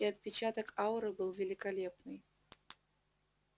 и отпечаток ауры был великолепный